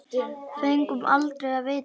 Fengum aldrei að vita það.